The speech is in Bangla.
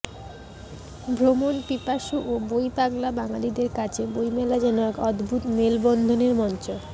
ভ্রমণপিপাসু ও বইপাগলা বাঙালিদের কাছে বইমেলা যেন এক অদ্ভুত মেলবন্ধনের মঞ্চ